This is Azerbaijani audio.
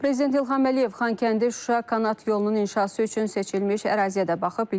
Prezident İlham Əliyev Xankəndi-Şuşa Kanat yolunun inşası üçün seçilmiş əraziyə də baxıb.